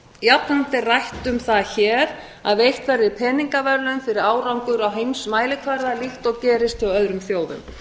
jafnframt er rætt um það hér að veitt verði peningaverðlaun fyrir árangur á heimsmælikvarða líkt og gerist hjá árum þjóðum